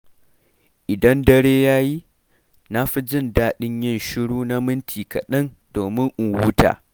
Idan dare ya yi, na fi jin daɗin yin shiru na minti kaɗan domin in huta.